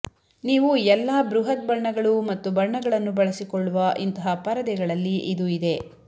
ನೀವು ಎಲ್ಲಾ ಬೃಹತ್ ಬಣ್ಣಗಳು ಮತ್ತು ಬಣ್ಣಗಳನ್ನು ಬಳಸಿಕೊಳ್ಳುವ ಇಂತಹ ಪರದೆಗಳಲ್ಲಿ ಇದು ಇದೆ